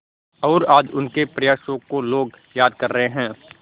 और आज उनके प्रयासों को लोग याद कर रहे हैं